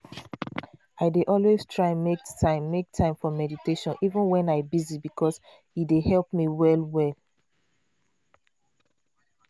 i dey always try make time make time for meditation even wen i busy because e dey help me well well.